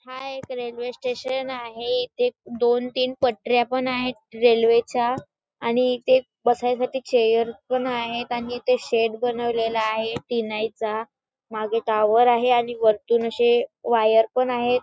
हा एक railway station आहे इथे एक दोन तीन पटऱ्या पण आहेत रेल्वेच्या आणि इथे एक बसायसाठी चेअर पण आहेत आणि इथे शेड बनवलेला आहे तीनइचा मागे टावर आहे आणि वरतून अशे वायर पण आहेत.